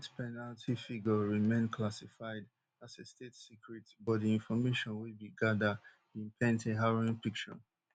death penalty figure remain classified as a state secret but di information wey we gada bin paint a harrowing picture